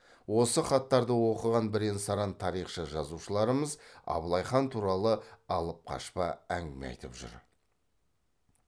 осы хаттарды оқыған бірен саран тарихшы жазушыларымыз абылай хан туралы алыпқашпа әңгіме айтып жүр